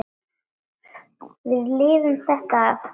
Við lifum þetta af.